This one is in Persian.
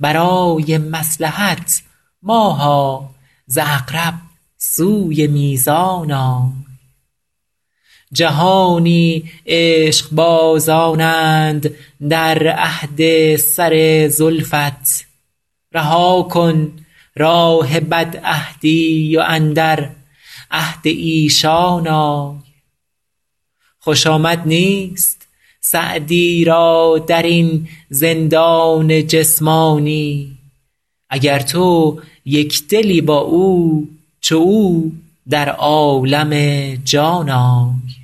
برای مصلحت ماها ز عقرب سوی میزان آی جهانی عشقبازانند در عهد سر زلفت رها کن راه بدعهدی و اندر عهد ایشان آی خوش آمد نیست سعدی را در این زندان جسمانی اگر تو یک دلی با او چو او در عالم جان آی